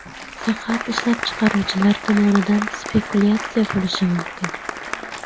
Faqat ishlab chiqaruvchilar tomonidan spekulyatsiya bo‘lishi mumkin.